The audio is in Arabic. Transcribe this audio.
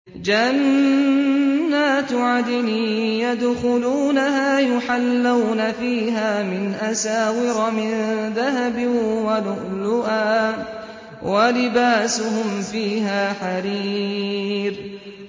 جَنَّاتُ عَدْنٍ يَدْخُلُونَهَا يُحَلَّوْنَ فِيهَا مِنْ أَسَاوِرَ مِن ذَهَبٍ وَلُؤْلُؤًا ۖ وَلِبَاسُهُمْ فِيهَا حَرِيرٌ